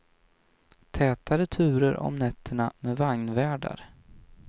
Tätare turer om nätterna med vagnvärdar.